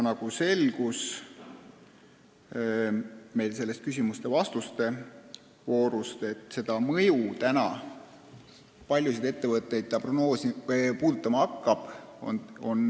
Nagu küsimuste-vastuste voorus selgus, on raske praegu öelda, kui paljusid ettevõtteid see puudutama hakkab.